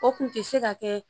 O kun tɛ se ka kɛ